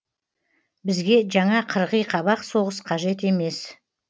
бізге жаңа қырғи қабақ соғыс қажет емес